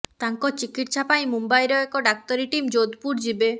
ତାଙ୍କ ଚିକିତ୍ସା ପାଇଁ ମୁମ୍ବାଇର ଏକ ଡାକ୍ତରୀ ଟିମ୍ ଯୋଧପୁର ଯିବେ